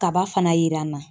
Kaba fana yera n na.